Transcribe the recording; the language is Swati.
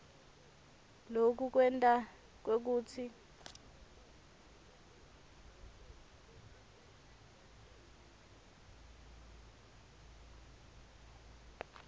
loku kwenta kwekutsi